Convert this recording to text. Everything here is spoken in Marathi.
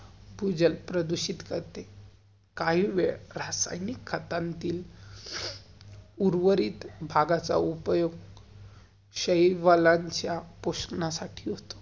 भूजल प्रदूषित करते. काही वेळ, रासायनिक खतानतील उर्वरित भागाचा उपयोग शहिवाल्यांच्या पुस्न्या साठी असतो.